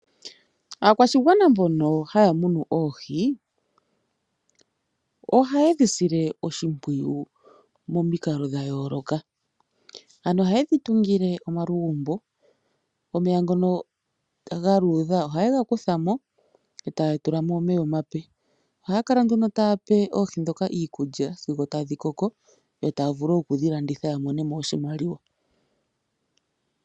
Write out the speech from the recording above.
Aakwashigwana mbono haya munu oohi ohaye dhisile oshimpwiyu momikalo dhayooloka, ano ohaye dhi tungile omalugumbo. Omeya ngono galuudha ohaye gakutha mo etaya tula mo omeya omeya omape. Ohaya kala nduno taya pe oohi ndhika iikulya sigo tadhi koko etaya vulu okudhilanditha opo ya mone mo oshimaliwa.